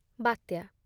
ବାତ୍ୟା